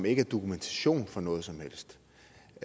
ikke er dokumentation for noget som helst